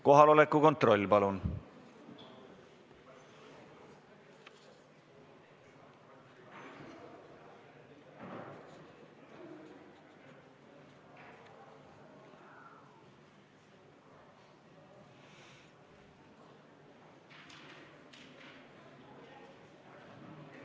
Kohaloleku kontroll, palun!